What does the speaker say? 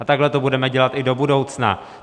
A takhle to budeme dělat i do budoucna.